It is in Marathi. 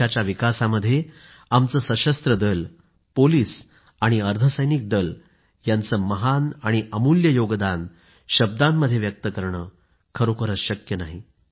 देशाच्या विकासामध्ये आमचे सशस्त्र दल पोलीस आणि अर्धसैनिक दल यांचं महान आणि अमूल्य योगदान शब्दांमध्ये व्यक्त करणं खरोखरीच शक्य नाही